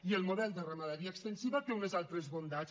i el model de ramaderia extensiva té unes altres bondats